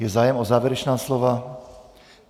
Je zájem o závěrečná slova?